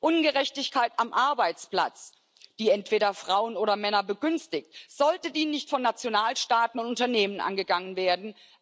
Ungerechtigkeit am Arbeitsplatz, die entweder Frauen oder Männer begünstigt, sollte die nicht von Nationalstaaten und Unternehmen angegangen werden?